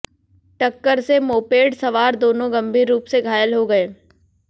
टक्कर से मोपेड सवार दोनों गंभीर रूप से घायल हो गए